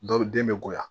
Dɔw den be bonya